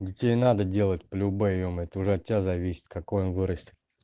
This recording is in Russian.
детей надо делать полюбэ ё-моё это уже от тебя зависит какой он вырастет